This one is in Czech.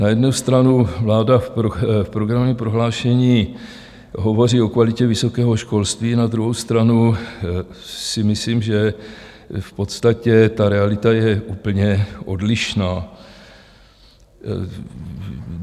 Na jednu stranu vláda v programovém prohlášení hovoří o kvalitě vysokého školství, na druhou stranu si myslím, že v podstatě ta realita je úplně odlišná.